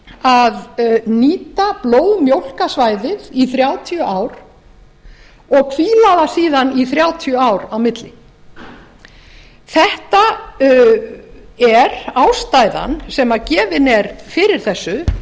að nýta blóðmjólka svæðið í þrjátíu ár og hvíla það síðan í þrjátíu ár á milli þetta er ástæðan sem gefin er fyrir þessu